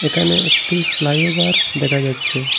এখানে একটি ফ্লাইওভার দেখা যাচ্ছে।